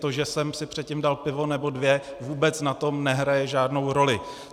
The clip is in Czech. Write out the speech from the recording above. To, že jsem si předtím dal pivo nebo dvě, vůbec na tom nehraje žádnou roli.